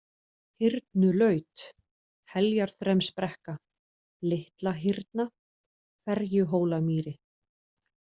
Hyrnulaut, Heljarþremsbrekka, Litlahyrna, Ferjuhólamýri